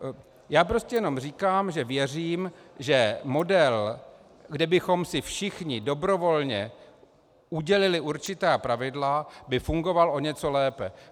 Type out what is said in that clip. Já prostě jenom říkám, že věřím, že model, kdy bychom si všichni dobrovolně udělili určitá pravidla, by fungoval o něco lépe.